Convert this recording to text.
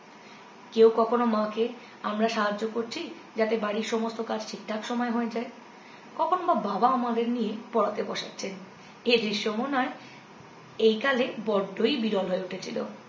কেউ কখনো মাকে আমরা সাহায্য করছি যাতে বাড়ির সমস্ত কাজ ঠিক ঠাক সময়ে হয়ে যায় কখনও বা বাবা আমাদের নিয়ে পড়াতে বসাচ্ছেন এ দৃশ্য মনে হয় এই কালে বড্ডই বিরল হয়ে উঠেছিল